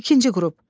İkinci qrup.